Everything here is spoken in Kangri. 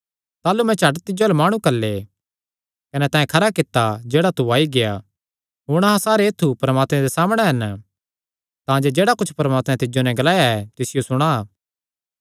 ताह़लू मैं झट तिज्जो अल्ल माणु घल्ले कने तैं खरा कित्ता जेह्ड़ा तू आई गेआ हुण अहां सारे ऐत्थु परमात्मे दे सामणै हन तांजे जेह्ड़ा कुच्छ परमात्मैं तिज्जो नैं ग्लाया ऐ तिसियो सुणा